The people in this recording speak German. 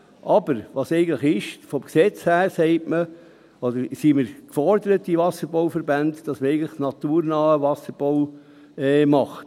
aber eigentlich sind vom Gesetz her die Wasserbauverbände aufgefordert, naturnahen Wasserbau zu machen.